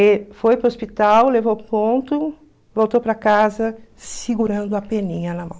E foi para o hospital, levou o ponto, voltou para casa segurando a peninha na mão.